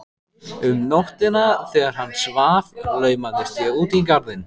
Um nóttina þegar hann svaf laumaðist ég út í garðinn.